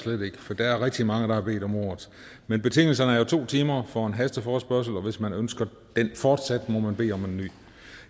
slet ikke for der er rigtig mange der har bedt om ordet men betingelserne er jo to timer for en hasteforespørgsel og hvis man ønsker den fortsat må man bede om en ny